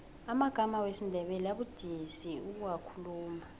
amagama wesindebele abudisi ukuwakhuluma